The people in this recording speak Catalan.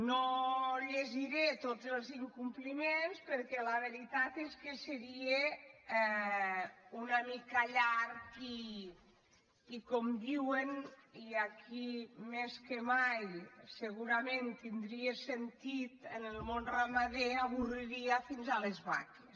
no llegiré tots els incompliments perquè la veritat és que seria una mica llarg i com diuen i aquí més que mai se·gurament tindria sentit en el món ramader avorriria fins les vaques